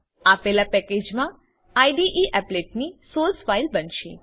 આપેલા પેકેજમા IDE applet ની સોર્સ ફાઈલ બનશે